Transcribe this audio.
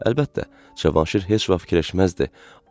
Əlbəttə, Cavanşir heç vaxt fikirləşməzdi.